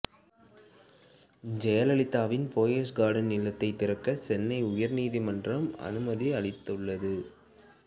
ஜெயலலிதாவின் போயஸ் கார்டன் இல்லத்தை திறக்க சென்னை உயர்நீதிமன்றம் அனுமதி அளித்துள்ளது